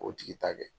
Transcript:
O tigi ta kɛ